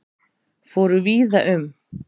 Fóru víða um